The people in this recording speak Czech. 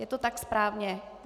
Je to tak správně?